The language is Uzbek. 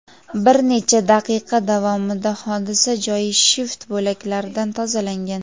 Bir necha daqiqa davomida hodisa joyi shift bo‘laklaridan tozalangan.